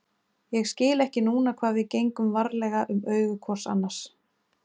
Ég skil ekki núna hvað við gengum varlega um augu hvors annars